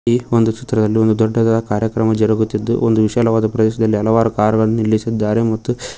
ಈ ಒಂದು ಚಿತ್ರದಲ್ಲಿ ಒಂದು ದೊಡ್ಡದಾದ ಕಾರ್ಯಕ್ರಮ ಜರುಗುತ್ತಿದ್ದು ಒಂದು ವಿಶಾಲವಾದ ಪ್ರದೇಶದಲ್ಲಿ ಹಲವಾರು ಕಾರ್ ಗಳನ್ನು ನಿಲ್ಲಿಸಿದ್ದಾರೆ ಮತ್ತು --